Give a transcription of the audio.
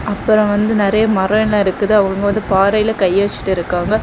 அப்புறம் வந்து நறைய மரோ எல்ல இருக்குது அவங்க வந்து பாறைல கைய வச்சிட்டு இருக்காங்க.